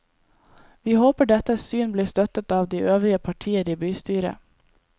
Vi håper dette syn blir støttet av de øvrige partier i bystyret.